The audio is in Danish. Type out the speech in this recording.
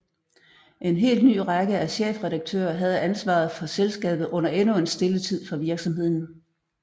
En helt ny række af chefredaktører havde ansvaret for selskabet under endnu en stille tid for virksomheden